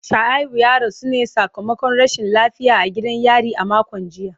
Shuaibu ya rasu ne sakamakon rashin lafiya a gidan yari a makon jiya.